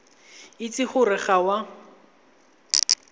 itse gore ga o a